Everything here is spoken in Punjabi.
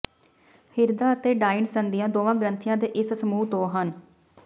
ਹਿਰਦਾ ਅਤੇ ਡਾਇੰਡ ਸੰਧੀਆਂ ਦੋਵਾਂ ਗ੍ਰੰਥੀਆਂ ਦੇ ਇਸ ਸਮੂਹ ਤੋਂ ਹਨ